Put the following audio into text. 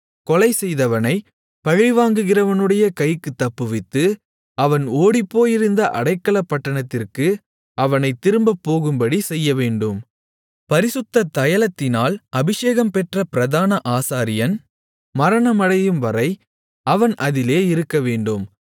கொலைசெய்தவனைப் பழிவாங்குகிறவனுடைய கைக்குத் தப்புவித்து அவன் ஓடிப்போயிருந்த அடைக்கலப்பட்டணத்திற்கு அவனைத் திரும்பப்போகும்படி செய்யவேண்டும் பரிசுத்த தைலத்தினால் அபிஷேகம் பெற்ற பிரதான ஆசாரியன் மரணமடையும்வரை அவன் அதிலே இருக்கவேண்டும்